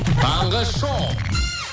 таңғы шоу